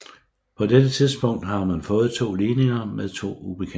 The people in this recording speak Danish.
På dette tidspunkt har man fået to ligninger med to ubekendte